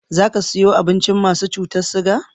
Za ka siyo abincin masu cutar siga?